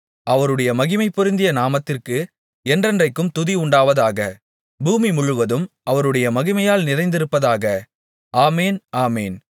அவருடைய மகிமைபொருந்திய நாமத்திற்கு என்றென்றைக்கும் துதி உண்டாவதாக பூமிமுழுவதும் அவருடைய மகிமையால் நிறைந்திருப்பதாக ஆமென் ஆமென்